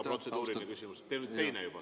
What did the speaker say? Teil on ka protseduuriline küsimus, teine siis juba.